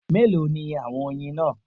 Mélòó ni àwọn oyin náà